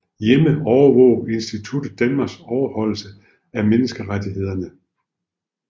Hjemme overvåger instituttet Danmarks overholdelse af menneskerettighederne